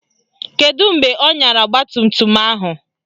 Kedụ mgbe ọ nyara ọgbatumtum ahụ?